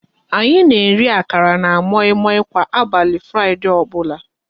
Anyị na-eri akara na moi moi kwa abali Fraịdee ọbụla